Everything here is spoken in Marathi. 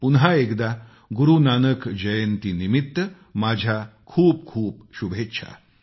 पुन्हा एकदा गुरू नानक जयंतीनिमित्त माझ्या खूपखूप शुभेच्छा